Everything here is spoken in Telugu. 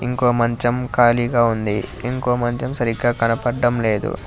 ఇంకో మంచం ఖాళీగా ఉంది ఇంకో మంచం సరిగ్గ కనపడ్డం లేదు.